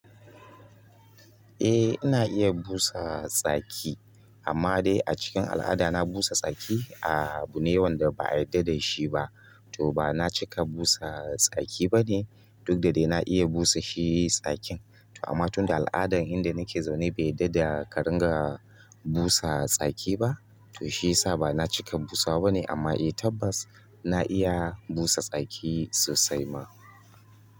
Eh ina iya busa tsaki, amma dai a cikin al'ada na busa tsaki, a bune wanda ba'a yarda da shi ba. To ba na cika busa tsaki bane duk da dai na iya busa shi tsakin. To amma tun da al'adan inda nake zaune bai yarda da ƙarin ga busa tsaki ba, to shi yasa ba na cika busawa bane. Amma eh tabbas na iya busa tsaki sosai ma.